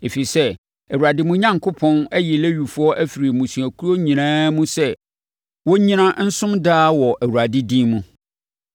Ɛfiri sɛ, Awurade, mo Onyankopɔn, ayi Lewifoɔ afiri mo mmusuakuo nyinaa mu sɛ wɔnnyina, nsom daa wɔ Awurade din mu.